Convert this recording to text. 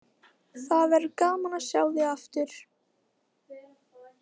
Það verður gaman að sjá þig aftur.